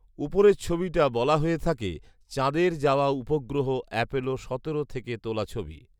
উপরের ছবিটা বলা হয়ে থাকে চাঁদের যাওয়া উপগ্রহ অ্যাপোলো সতেরো থেকে তোলা ছবি